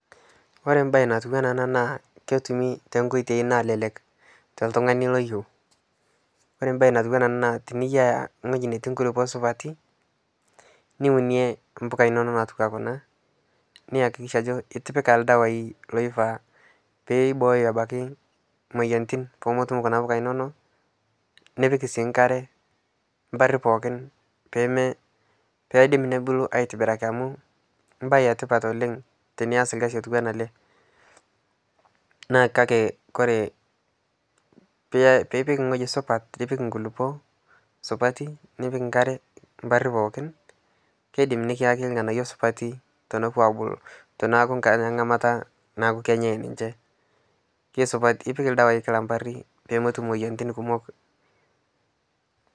Kore mbai natuwana ana ana naa ketumi tenkoitei nalelek toltung'ani loyeu, kore mbai natuwana anaa naa tiniyaa ngoji neti nkulipoo supatii niunie mpuka inonoo natuwaa kunaa niakikisha ajo itipika ldawai loifaa peibooyo abaki moyantin pomotum kuna puka inonoo nipik sii nkare mpari pookin peidim nobulu aitibiraki amu mbai etipat oleng' tinias lkazi otuwana alee naa kakee koree piipik ng'oji supat piipik nkulipoo supatii nipik nkaree mparii pookin keidim nikiyaki ng'anayo supatii tenepuo abuluu teneaku ng'amata naaku kenyai ninshe keisupati ipik ldawai kila mparii poomotum moyantin kumok